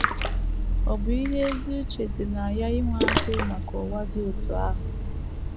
Ọ̀ bụ ihe ezi uche dị na ya inwe agụụ maka ụwa dị otú ahụ?